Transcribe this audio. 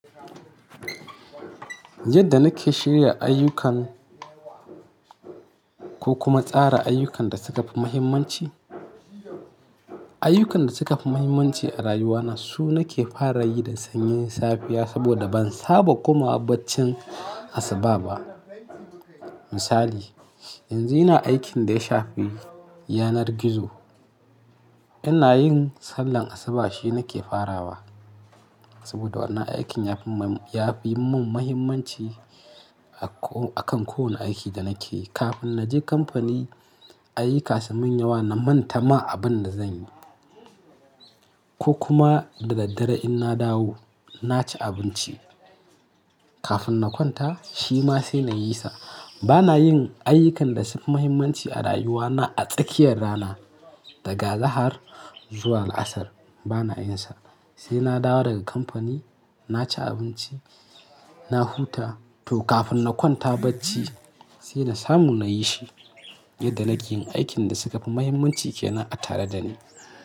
Yadda nake shirya ayyukan ko kuma tsara ayyukan da suka fi muhimmanci, ayyukan da suka fi muhimmanci a rayuwana su nake fara yi da sanyin safiya saboda ban saba komawa baccin asuba ba. Misali, yanzun ina aikin da ya shafi yanar gizo, ina yin sallar asuba shi nake farawa saboda wannan aikin ya fi mun, ya fi mun muhimmanci a ko akan kowane aiki da nake yi. Kafin na je kamfani, ayyuka su mun yawa na manta ma abin da zan yi ko kuma da daddare in na dawo, na ci abinci kafin na kwanta shi ma sai na yi sa. Ba na yin ayyukan da sun fi muhimmanci a rayuwana a tsakiyar rana daga zahar zuwa la'asar ba na yin sa. Sai na dawo daga kamfani, na ci abinci, na huta toh kafin na kwanta bacci sai na samu na yi shi yadda nake yin aikin da suka fi muhimmanci kenan a tare da ni.